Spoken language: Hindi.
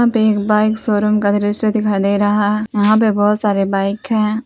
पे एक बाइक शोरूम का दृश्य दिखाई दे रहा यहां पे बहोत सारे बाइक है।